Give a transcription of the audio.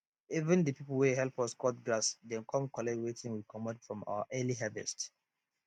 even de people wey help us cut grass dem come collect wetin we comot from our early harvest